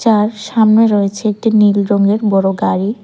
আর সামনে রয়েছে একটি নীল রঙের বড় গাড়ি।